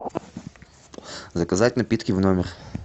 заказать напитки в номер